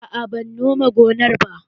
Aa ban nome gonar ba